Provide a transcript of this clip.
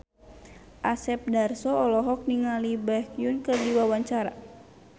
Asep Darso olohok ningali Baekhyun keur diwawancara